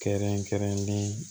Kɛrɛnkɛrɛnlen